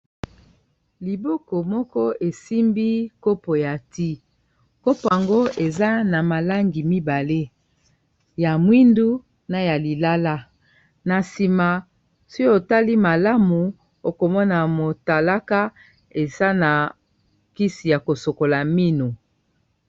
Liboko moko esimbi kopo ya ti kopo ango eza na malangi mibale ya mwindu na ya lilala na nsima so otali malamu okomona motalaka eza na kisi ya kosokola mino.